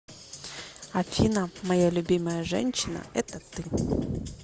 афина моя любимая женщина это ты